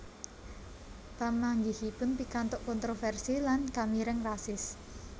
Pamanggihipun pikantuk kontroversi lan kamireng rasis